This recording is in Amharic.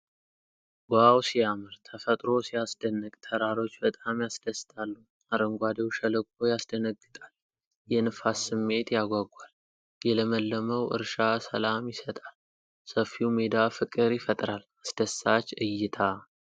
ዋው ሲያምር! ተፈጥሮ ሲያስደንቅ! ተራሮች በጣም ያስደስታሉ። አረንጓዴው ሸለቆ ያስደነግጣል። የነፋስ ስሜት ያጓጓል። የለመለመው እርሻ ሰላም ይሰጣል። ሰፊው ሜዳ ፍቅር ይፈጥራል። አስደሳች እይታ።